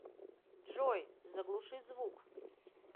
джой заглуши звук